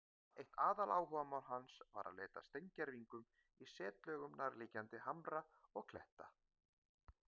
Eitt aðaláhugamál hans var að leita að steingervingum í setlögum nærliggjandi hamra og kletta.